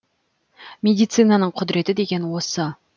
медицинаның құдыреті деген осы